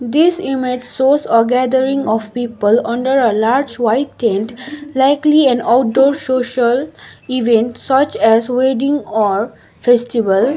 this image shows a gathering of people under a large white tent likely an outdoor social event such as wedding or festival.